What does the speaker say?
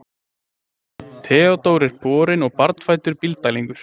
Theodór er borinn og barnfæddur Bílddælingur.